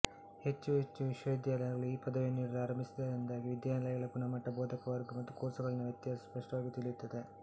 ಹೆಚ್ಚು ಹೆಚ್ಚು ವಿಶ್ವವಿದ್ಯಾಲಯಗಳು ಈ ಪದವಿಯನ್ನು ನೀಡಲು ಆರಂಭಿಸಿದ್ದರಿಂದಾಗಿ ವಿದ್ಯಾಲಯಗಳ ಗುಣಮಟ್ಟ ಬೋಧಕವರ್ಗ ಹಾಗೂ ಕೋರ್ಸುಗಳಲ್ಲಿನ ವ್ಯತ್ಯಾಸ ಸ್ಪಷ್ಟವಾಗಿ ತಿಳಿಯುತ್ತದೆ